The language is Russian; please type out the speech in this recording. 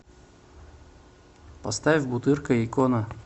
поставь бутырка икона